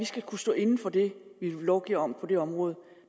skal kunne stå inde for det vi lovgiver om på det område